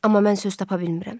Amma mən söz tapa bilmirəm.